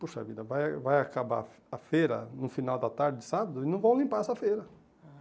Puxa vida, vai vai acabar a fe a feira no final da tarde, sábado, e não vão limpar essa feira.